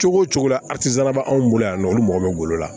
Cogo o cogo la bɛ anw bolo yan nɔ olu mago bɛ golo la